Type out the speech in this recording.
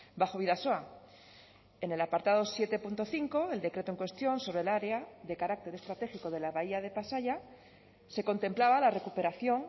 bajo bidasoa en el apartado siete punto cinco el decreto en cuestión sobre el área de carácter estratégico de la bahía de pasaia se contemplaba la recuperación